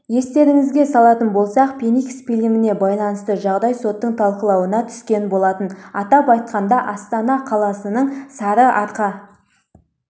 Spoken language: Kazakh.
естеріңізге салатын болсақ феникс фильміне байланысты жағдай соттың талқылауына түскен болатын атап айтқанда астана қаласының сарыарқа